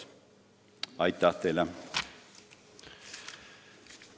Aitäh teile!